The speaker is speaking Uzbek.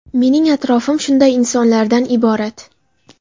Mening atrofim shunday insonlarda iborat.